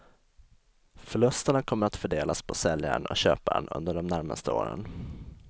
Förlusterna kommer att fördelas på säljaren och köparen under de närmaste åren.